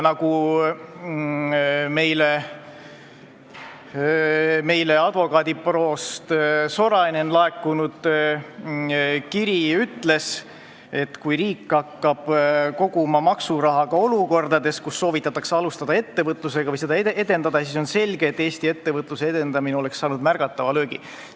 Nagu advokaadibüroost Sorainen laekunud kiri ütles, kui riik hakkab koguma maksuraha ka olukordades, kus soovitatakse alustada ettevõtlusega või seda edendada, siis on selge, et Eesti ettevõtlus saab märgatava löögi.